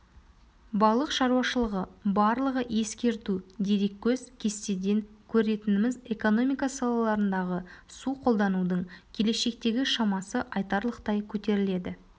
балық шаруашылығы барлығы ескерту дереккөз кестеден көретініміз экономика салаларындағы су қолданудың келешектегі шамасы айтарлықтай көтеріледі